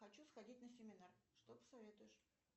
хочу сходить на семинар что посоветуешь